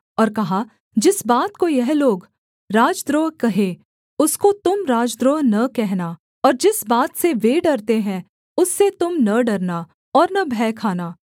और कहा जिस बात को यह लोग राजद्रोह कहें उसको तुम राजद्रोह न कहना और जिस बात से वे डरते हैं उससे तुम न डरना और न भय खाना